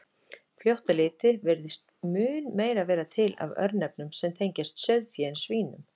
Fljótt á litið virðist mun meira vera til af örnefnum sem tengjast sauðfé en svínum.